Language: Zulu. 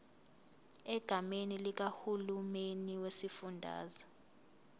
egameni likahulumeni wesifundazwe